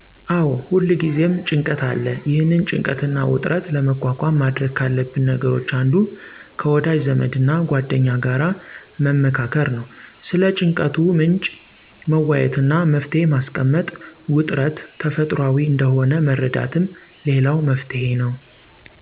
አዎ ሁልጊዜም ጭንቀት አለ። ይህንን ጭንቀትና ውጥረት ለመቋቋም ማድረግ ካለብን ነገሮች አንዱ ከወዳጅ ዘመድና ጓደኛ ጋር መመካከር ነው። ስለ ጭንቀቱ ምንጭ መወያየትና መፍትሔ ማስቀመጥ፣ ውጥረት ተፈጥሯዊ እንደሆነ መረዳትም ሌላው መፍትሔ ነው።